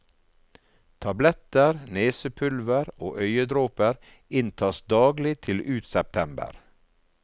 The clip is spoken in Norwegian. Tabletter, nesepulver og øyedråper inntas daglig til ut september.